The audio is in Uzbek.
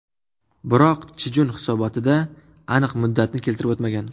Biroq Chjun hisobotida aniq muddatni keltirib o‘tmagan.